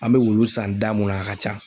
An be wulu san da mun na, a ka ca.